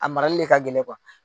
A marali le ka gɛlɛn